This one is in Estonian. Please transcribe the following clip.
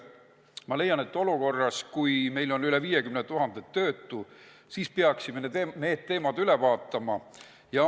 Ma leian, et olukorras, kui meil on üle 50 000 töötu, peaksime need teemad üle vaatama.